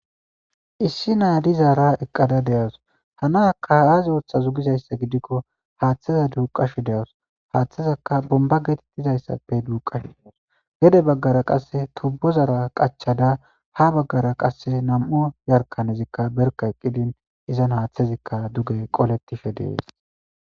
Issi naadizaara eqqada deyas hanaka aazi ooththa zugizayssa gidikko haaththeza duuqashu deaus haaththezakka bomba getettizayssappe duuqashs gede baggara qasse tobbozara qachada ha baggara qasse nam'o yarkanezikka berka eqqidin izan haaththezikka duge qolettishe dees.